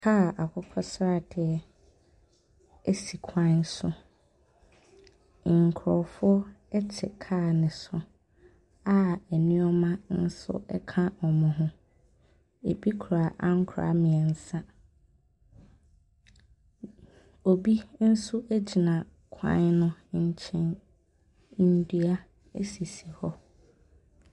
Kaa akokɔ sradeɛ si kwan so. Nkurɔfoɔ te kaa no so a nneɛma nso ka wɔn ho. Ebi kura ankora mmeɛnsa. Obi nso gyina kwan no nkyɛn. Nnua sisi hɔ.